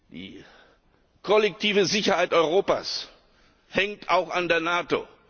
Die kollektive Sicherheit Europas hängt auch an der NATO.